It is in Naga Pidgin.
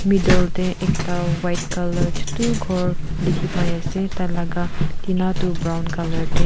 middle te ekta white colour chutu ghor dikhi pai ase tai laga tina toh brown colour te.